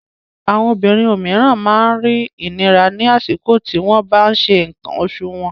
Àwọn obìnrin òmíràn máa ń rí ìnira ní àsìkò tí wọ́n bá ń ṣe nǹkan oṣù wọn.